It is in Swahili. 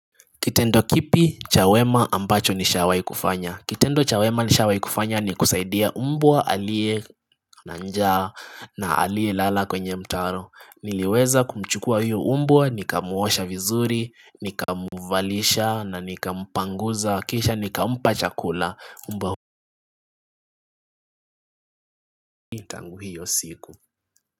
Kitendo kipi, cha wema ambacho nishawai kufanya? Kitendo cha wema nishawai kufanya ni kusaidia umbwa alie na njaa na alie lala kwenye mtaro. Niliweza kumchukua hiyo umbwa, nikamuosha vizuri, nikamuvalisha na nikampanguza. Kisha nikampa chakula mbwa hiyo siku.